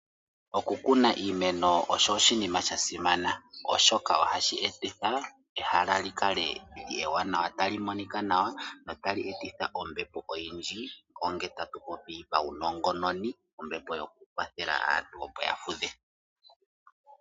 Okukuna iimeno osho oshinima shasimana oshoka ohashi etitha ehala likale ewanawa talimonika nawa na otali etitha ombepo oyindji onge tatupopi paunongononi ombepo yokukwathela aantu opo yafudhe.